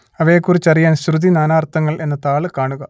അവയെക്കുറിച്ചറിയാൻ ശ്രുതി നാനാർത്ഥങ്ങൾ എന്ന താൾ കാണുക